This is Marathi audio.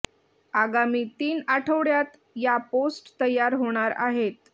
आगामी तीन आठवड्यात या पोस्ट तयार होणार आहेत